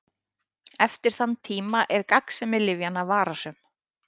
Eftir þann tíma er gagnsemi lyfjanna vafasöm.